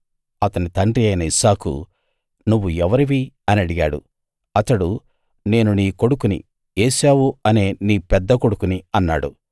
అతని తండ్రి అయిన ఇస్సాకు నువ్వు ఎవరివి అని అడిగాడు అతడు నేను నీ కొడుకుని ఏశావు అనే నీ పెద్ద కొడుకుని అన్నాడు